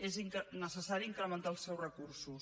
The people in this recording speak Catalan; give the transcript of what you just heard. és necessari incrementar els seus recursos